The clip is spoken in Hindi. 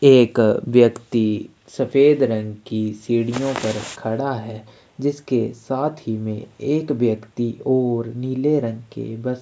एक व्यक्ति सफ़ेद रंग की सीढ़ियों पर खड़ा है जिसके साथ ही में एक व्यक्ति और नीले रंग की वस्त्र--